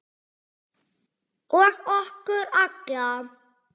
Og okkur alla.